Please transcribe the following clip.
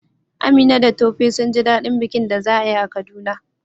Amina da Tope sun ji daɗin bikin da za a yi a Kaduna